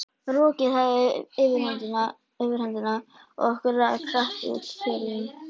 Rokið hafði yfirhöndina og okkur rak hratt út fjörðinn.